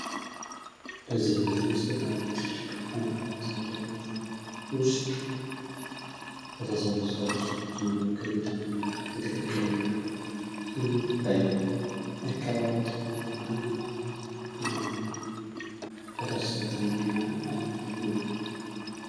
በዚህ ምስል ውስጥ በአንድ ትልቅ ኮንፈረንስ አዳራሽ ውስጥ በተሰበሰቡ ሰዎች መካከል የተሞላ የትክክለኛ ስሜት ይታያል። የአካባቢ ትኩረት እና የማህበረሰብ ትጉህነት በተስፋ የተሞላ አየት ነው።